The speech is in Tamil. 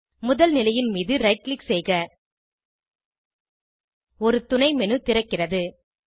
முதல் நிலையின் மீது ரைட் க்ளிக் செய்க ஒரு துணை மேனு திறக்கிறது